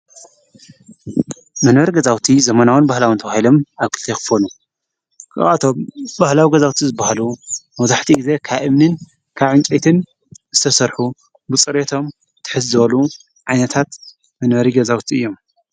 መነበሪ ገዛውቲ ዘመናዎን ባህላውን ተውሂሎም ኣብ ክልቴ ይኽፎሉ ክብቶም ባህላው ገዛውቲ ዝበሃሉ መብዛሕቲኡ ጊዜ ካብ እምንን ካብ እንስይትን ዝተሠርሑ ብፁሬቶም ትሕዝወሉ ዓይነታት መንበሪ ገዛውቲ እዮም፡፡